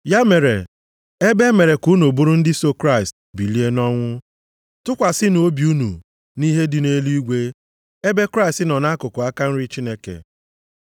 Ya mere, ebe e mere ka unu bụrụ ndị so Kraịst bilie nʼọnwụ, tụkwasịnụ obi unu nʼihe dị nʼeluigwe ebe Kraịst nọ nʼakụkụ aka nri Chineke.